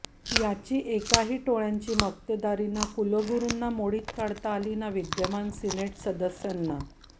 यातील एकाही टोळय़ांची मक्तेदारी ना कुलगुरूंना मोडीत काढता आली ना विद्यमान सिनेट सदस्यांना